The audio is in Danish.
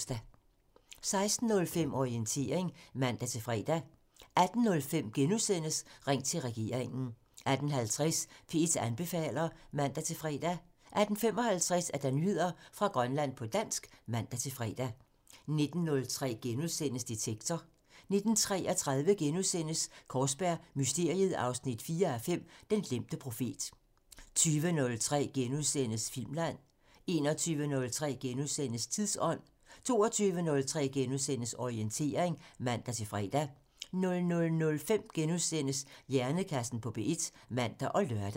16:05: Orientering (man-fre) 18:05: Ring til regeringen *(man) 18:50: P1 anbefaler (man-fre) 18:55: Nyheder fra Grønland på dansk (man-fre) 19:03: Detektor *(man) 19:33: Kaarsberg Mysteriet 4:5 – Den glemte profet * 20:03: Filmland *(man) 21:03: Tidsånd *(man) 22:03: Orientering *(man-fre) 00:05: Hjernekassen på P1 *(man og lør)